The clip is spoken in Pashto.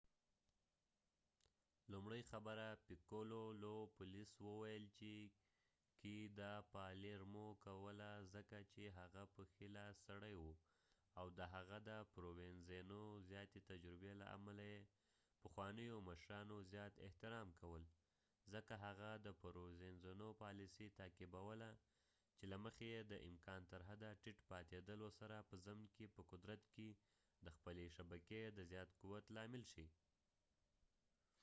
پولیس وویل چې lo piccolo لومړۍ خبره کوله ځکه چې هغه په palermo کې د provenzano ښۍ لاس سړی وو او د هغه د زیاتې تجربې له امله یې پخوانیو مشرانو زیات احترام کول ځکه هغه د پرووینزانو پالیسي تعقیبوله چې له مخې یې د امکان تر حده ټیټ پاتېدلو سره په ضمن کې په قدرت کې د خپلې شبکې د زیات قوت لامل شي